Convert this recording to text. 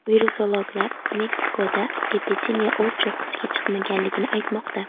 Virusologlar Mexikoda epidemiya o‘z cho‘qqisiga chiqmaganligini aytmoqda.